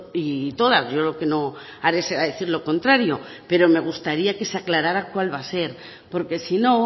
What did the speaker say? y todas yo lo que no haré será decir lo contrario pero me gustaría que se aclarara cuál va a ser porque si no